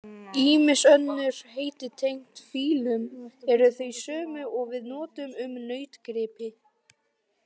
Ýmis önnur heiti tengd fílum eru þau sömu og við notum um nautgripi.